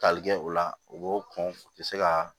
Tali kɛ o la u b'o kɔn u tɛ se ka